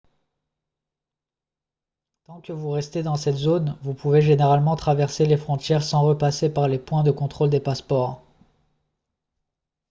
tant que vous restez dans cette zone vous pouvez généralement traverser les frontières sans repasser par les points de contrôle des passeports